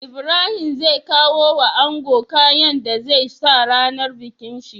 Ibrahim zai kawo wa ango kayan da zai sa rAnar bikin shi